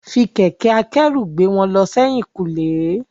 Fi kẹ̀kẹ́ akẹ́rù gbé wọn lọ sẹ́yìn kùlé.